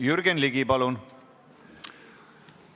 Jürgen Ligi, palun!